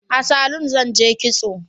A salu zan je kitso